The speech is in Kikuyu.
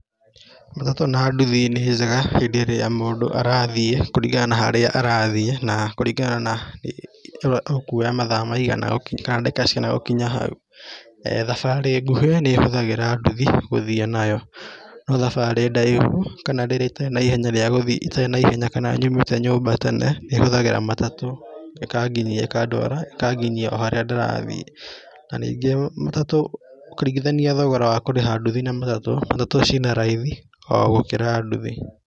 Matatũ na ndũthi nĩ njega hĩndĩ ĩrĩa mũndũ arathiĩ kũringana na harĩa arathiĩ na kũringana ũkuoya mathaa maigana kana ndagĩka cigana gũkinya hau. Thabarĩ ngũhĩ nĩ hũthagĩra ndũthi gũthiĩ nayo no thabarĩ ndaihũ kana rĩrĩa itarĩ na ihenya rĩa gũthiĩ, itarĩ na ihenya kana nyumĩte nyũmba gatene nĩ hũthagĩra matatũ ĩkanginyia ikandwara ikanginyia o harĩa ndĩrathiĩ. Na ningĩ matatũ ũkĩringithania thogora wa kũrĩha nduthi na matatũ, matatũ ci na raithi o gũkĩra nduthi.